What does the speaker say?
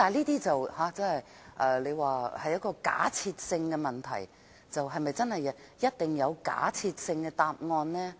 大家可能會說這是假設性的問題，是否一定會有假設性的答案？